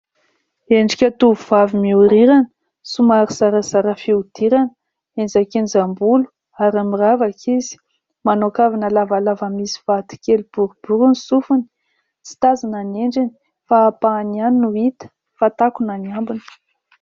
Endrika tovovavy mihorirana somary zarazara fihodirana, enjakenjam-bolo ary miravaka izy. Manao kavina lavalava misy vato kely boribory roa ny sofiny, tsy tazana ny endriny fa ampahany ihany no hita fa takona ny ambiny.